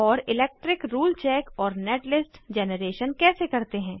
और electric rule check और netlist generation कैसे करते हैं